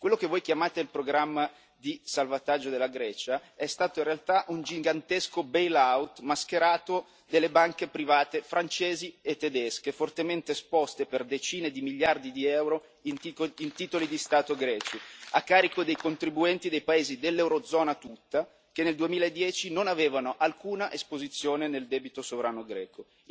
Quello che voi chiamate il programma di salvataggio della Grecia è stato in realtà un gigantesco bail out mascherato delle banche private francesi e tedesche, fortemente esposte per decine di miliardi di euro in titoli di Stato greci, a carico dei contribuenti dei paesi dell'Eurozona tutta, che nel 2010 non avevano alcuna esposizione nel debito sovrano greco.